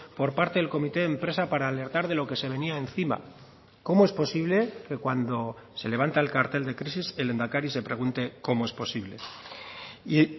por parte del comité de empresa para alertar de lo que se venía encima cómo es posible que cuando se levanta el cartel de crisis el lehendakari se pregunte cómo es posible y